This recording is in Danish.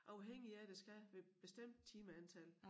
Afhængige af der skal være bestemt timeantal